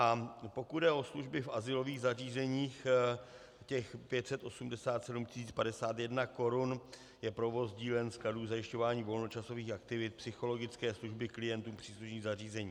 A pokud jde o služby v azylových zařízeních, těch 587 051 korun je provoz dílen, skladů, zajišťování volnočasových aktivit, psychologické služby klientům příslušných zařízení.